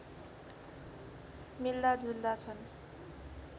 मिल्दा जुल्दा छन्